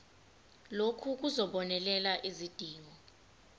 lokhu kuzobonelela izidingo